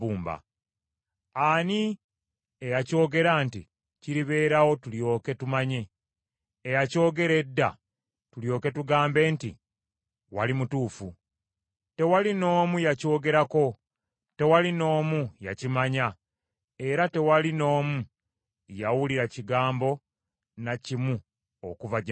Ani eyakyogera nti kiribeerawo tulyoke tumanye, eyakyogera edda tulyoke tugambe nti, ‘Wali mutuufu?’ Tewali n’omu yakyogerako, tewali n’omu yakimanya era tewali n’omu yawulira kigambo na kimu okuva gye muli.